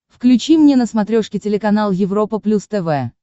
включи мне на смотрешке телеканал европа плюс тв